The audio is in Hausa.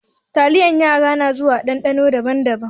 Taliyar yara na zuwa a ɗanɗano daban-daban.